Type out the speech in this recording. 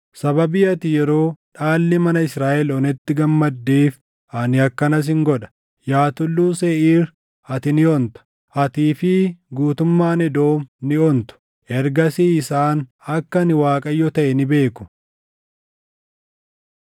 Sababii ati yeroo dhaalli mana Israaʼel onetti gammaddeef ani akkana sin godha. Yaa Tulluu Seeʼiir ati ni onta; atii fi guutummaan Edoom ni ontu. Ergasii isaan akka ani Waaqayyo taʼe ni beeku.’ ”